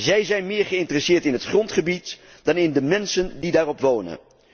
Zij zijn meer geïnteresseerd in het grondgebied dan in de mensen die daarop wonen.